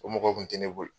O mɔgɔ kun tɛ ne bolo